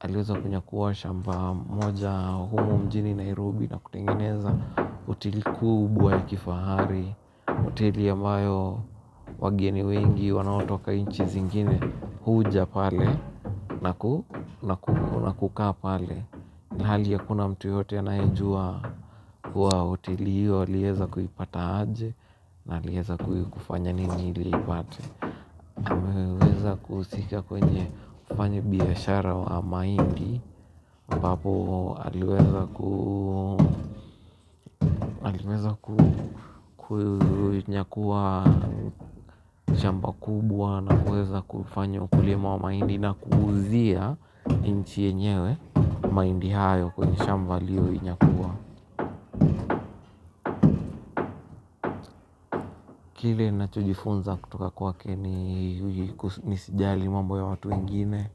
Aliweza kunyakua shamba moja kubwa mjini Nairobi na kutengeneza hoteli kubwa ya kifahari. Hoteli ambayo wageni wengi wanaotoka nchi nyingine huja pale. Na kukaa pale. Ilhali hakuna mtu yeyote anayejua hoteli hiyo aliweza kuipata aje. Na aliweza kufanya nini ili apate aliweza kuhusika kwenye kufanya biashara wa mahindi ambapo aliweza kunyakua jambi kubwa. Na kuweza kufanya ukulima wa mahindi na kuuzia nchi yenyewe mahindi hayo kwenye shamba aliyoinyakua kile ninachojifunza kutoka kwake ni nisijali mambo ya watu wengine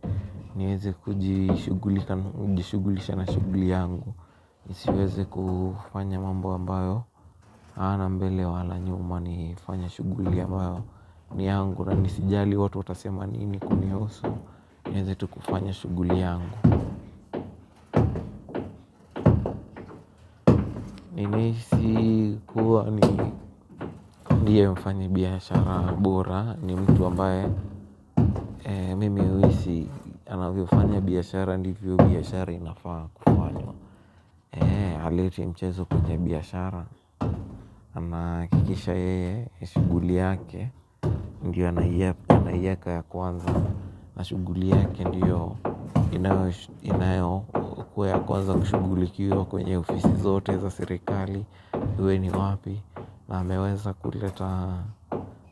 niweze kujishughulisha na shughuli yangu, nisiweze kufanya mambo ambayo hayana mbele wala nyuma, nifanye shughuli ambayo ni yangu na nisijali watu watasema nini kunihusu. Niweze tu kufanya shughuli yangu nihisi kuwa ndiye mfanya biashara bora ni mtu ambaye mimi uhisi anavyofanya biyashara hindi hivyo biyashara inafaa kufanywa, haleti mchezo kwenye biashara. Anahakikisha yeye shughuli yake ndiyo anayoiweka ya kwanza, na shughuli yake ndiyo inayokuwa ya kwanza kushughulikiwa kwenye ofisi zote za serikali. Iwe ni wapi na hameweza kuleta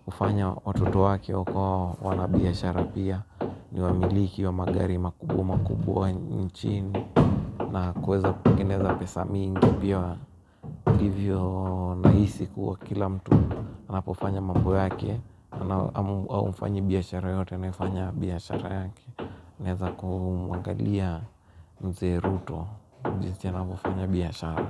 kufanya watoto wake huko wanabiashara pia niwamiliki wa magari makubwa makubwa nchini na kuweza kutengeneza pesa mingi hivyo nahisi kuwa kila mtu anapofanya mambo yake au mfanyabiashara yoyote anayefanya biyashara yake anaweza kumwangalia mzee Ruto jinsi anavyofanya biashara.